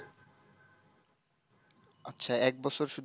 আচ্ছা এক বছর শুধু,